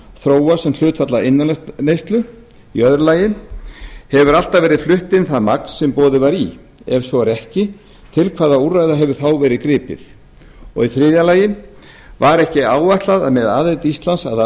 þróast sem hlutfall af innanlandsneyslu annars hefur alltaf verið flutt inn það magn sem boðið var í ef svo er ekki til hvaða úrræða hefur þá verið gripið þriðji var ekki áætlað að með aðild íslands að